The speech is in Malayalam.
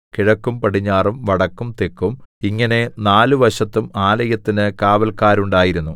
കിഴക്കും പടിഞ്ഞാറും വടക്കും തെക്കും ഇങ്ങനെ നാലുവശത്തും ആലയത്തിന് കാവല്ക്കാരുണ്ടായിരുന്നു